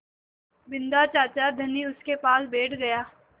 बिन्दा चाचा धनी उनके पास बैठ गया